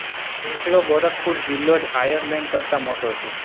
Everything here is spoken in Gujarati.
એકલો ગોરખપુર જિલ્લો જ આયર્લેન્ડ કરતાં મોટો છે